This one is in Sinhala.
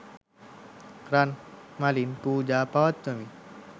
රන් මලින් පූජා පවත්වමින්